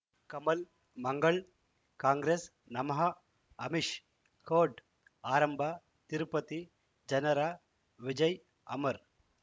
ಕಮಲ್ ಮಂಗಳ್ ಕಾಂಗ್ರೆಸ್ ನಮಃ ಅಮಿಷ್ ಕೋರ್ಟ್ ಆರಂಭ ತಿರುಪತಿ ಜನರ ವಿಜಯ ಅಮರ್